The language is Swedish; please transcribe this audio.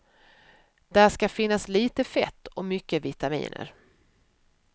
Där ska finnas lite fett och mycket vitaminer.